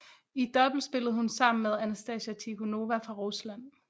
I double spillede hun sammen med Anastasia Tikhonova fra Rusland